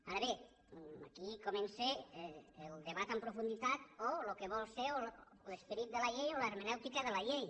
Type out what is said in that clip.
ara bé aquí comença el debat amb profunditat o el que vol ser l’esperit de la llei o la hermenèutica de la llei